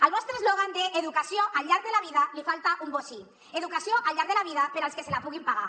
al vostre eslògan d’ educació al llarg de la vida li falta un bocí educació al llarg de la vida per als que se la puguin pagar